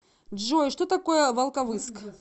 джой что такое волковыск